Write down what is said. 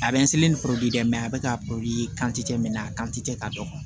A bɛ ni dɛ a bɛ ka a kan tɛ ka dɔgɔ